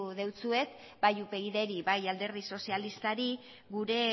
dizuet bai upydri bai alderdi sozialistari gure